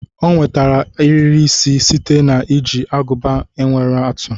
O nwetara ariri isi site na iji aguba nwere atụ